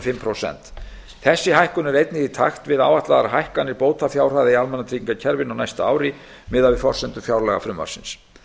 hálft prósent þessi hækkun er einnig í takti við áætlaðar hækkanir bótafjárhæða í almannatryggingakerfinu á næsta ári miðað við forsendur fjárlagafrumvarpsins